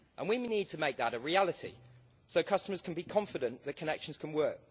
We need to make that a reality so customers can be confident the connections can work.